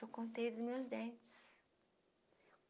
Eu contei dos meus dentes.